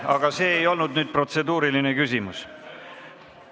Aga see ei olnud küll protseduuriline küsimus.